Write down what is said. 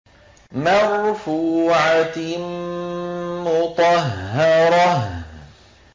مَّرْفُوعَةٍ مُّطَهَّرَةٍ